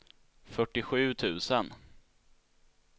fyrtiosju tusen